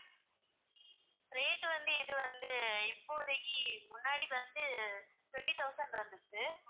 rate வந்து இது வந்து இப்போதைக்கு முன்னாடி வந்து twenty thousand இருந்துச்சு